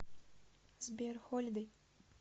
сбер холидэй